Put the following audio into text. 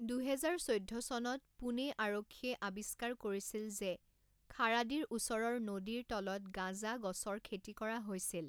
দুহেজাৰ চৈধ্য চনত, পুনে আৰক্ষীয়ে আৱিষ্কাৰ কৰিছিল যে খাৰাদিৰ ওচৰৰ নদীৰ তলিত গাঁজা গছৰ খেতি কৰা হৈছিল।